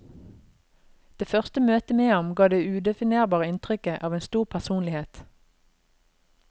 Det første møte med ham ga det udefinerbare inntrykket av en stor personlighet.